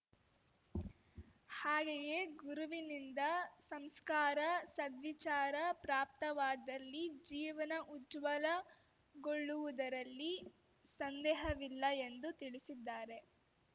ಹಾಗೆಯೇ ಗುರುವಿನಿಂದ ಸಂಸ್ಕಾರ ಸದ್ವಿಚಾರ ಪ್ರಾಪ್ತವಾದಲ್ಲಿ ಜೀವನ ಉಜ್ವಲ ಗೊಳ್ಳುವುದರಲ್ಲಿ ಸಂದೇಹವಿಲ್ಲ ಎಂದು ತಿಳಿಸಿದ್ದಾರೆ